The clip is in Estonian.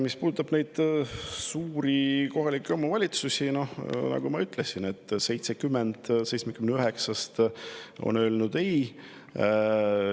Mis puudutab kohalikke omavalitsusi, siis nagu ma ütlesin, 79-st 70 on öelnud ei.